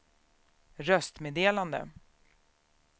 röstmeddelande